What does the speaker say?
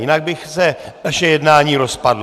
Jinak by se naše jednání rozpadlo.